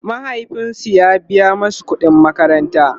mahaifinsu ya biya masu ƙuɗin makaranta